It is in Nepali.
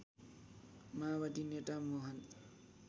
माओवादी नेता मोहन